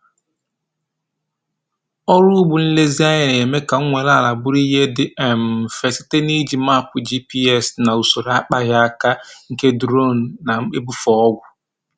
Ọrụ ugbo nlezianya na-eme ka nnwale ala bụrụ ihe dị um mfe site na iji mapu GPS na usoro akpaghị aka nke duronu na-ebufe ọgwụ.